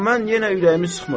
Amma mən yenə ürəyimi sıxmıram.